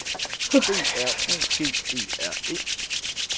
B R U G E R E